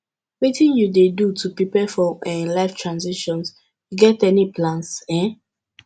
wetin you dey do to prepare for um life transitions you get any plans um